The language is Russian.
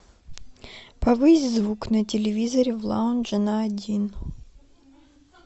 повысь звук на телевизоре в лаунже на один